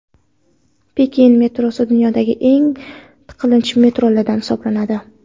Pekin metrosi dunyodagi eng tiqilinch metrolardan hisoblanadi.